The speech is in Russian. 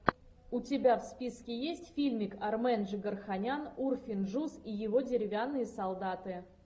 у тебя в списке есть фильмик армен джигарханян урфин джюс и его деревянные солдаты